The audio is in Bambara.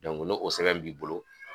n'o o sɛbɛn b'i bolo